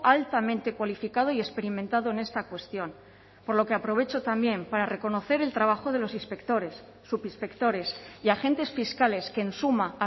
altamente cualificado y experimentado en esta cuestión por lo que aprovecho también para reconocer el trabajo de los inspectores subinspectores y agentes fiscales que en suma